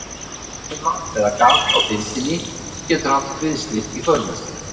Rifa eða gat á þindinni getur haft kviðslit í för með sér.